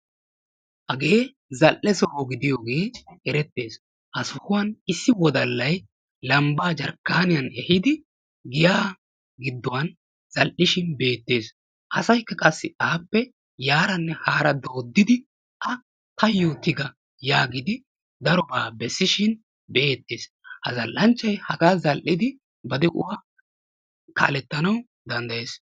Hagee zal'e soho gidiyogee erettees, ha sohuwan issi wodalay lambbaa jarkkaaniyan ehiidi giya gidduwan zal'ishin beettees. Asaykka qassi appee yaaranne haaraa dooddidi a tayoo tiga yaagidi darobaa bessishin beettees. Ha zal'anchchaay hagaa zal'idi ba de'uwan kaaletanawu danddayees.